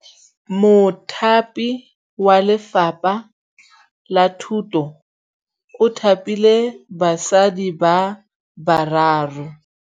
Mothapi wa Lefapha la Thutô o thapile basadi ba ba raro.